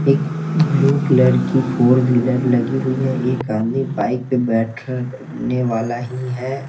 एक blue colour की four wheeler लगी हुई है एक आदमी बाइक पे बैठर ने वाला ही है ।